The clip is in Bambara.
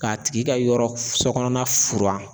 K'a tigi ka yɔrɔ f sɔ kɔnɔna furan